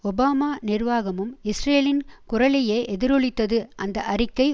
Obama நிர்வாகமும் இஸ்ரேலின் குரலையே எதிரொலித்தது அந்த அறிக்கை